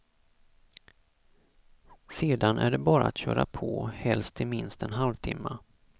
Sedan är det bara att köra på, helst i minst en halvtimme.